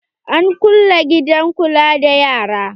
An kulle gidan kula da yara.